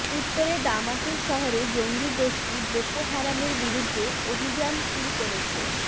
উত্তরের দামাতুরু শহরে জঙ্গিগোষ্ঠী বোকো হারামের বিরুদ্ধে অভিযান শুরু করেছে